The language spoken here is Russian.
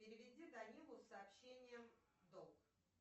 переведи данилу сообщение долг